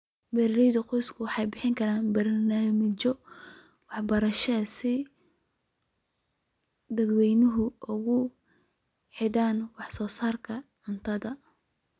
Beeralayda qoysku waxay bixin karaan barnaamijyo waxbarasho si ay dadweynaha ugu xidhaan wax soo saarka cuntada.